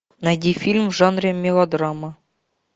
найди фильм в жанре мелодрама